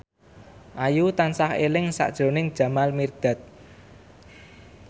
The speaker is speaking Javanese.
Ayu tansah eling sakjroning Jamal Mirdad